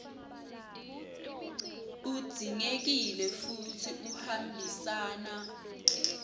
udzingekile futsi uhambisana